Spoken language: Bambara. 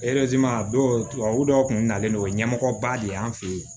a dɔw tubabu dɔw kun nalen do ɲɛmɔgɔba de y'an fe yen